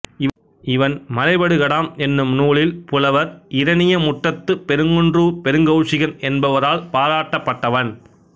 இவன் மலைபடுகடாம் என்னும் நூலில் புலவர் இரணியமுட்டத்துப் பெருங்குன்றூர்ப் பெருங்கௌசிகன் என்பவரால் பாராட்டப் பட்டவன்